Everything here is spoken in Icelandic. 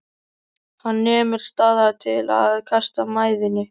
Hann nemur staðar til að kasta mæðinni.